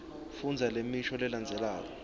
fundza lemisho lelandzelako